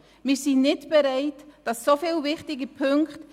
Wir sind nicht bereit, dass so viele wichtige Punkte